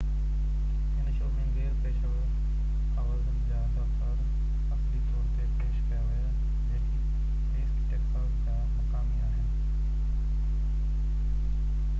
هن شو ۾ غير پيشور آوازن جا اداڪار اصلي طور تي پيش ڪيا ويا جيڪي ايسٽ ٽيڪساز جا مقامي آهن